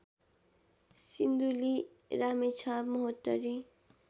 Sindhuli Ramechhap Mahottari